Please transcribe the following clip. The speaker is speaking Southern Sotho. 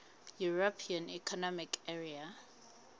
european economic area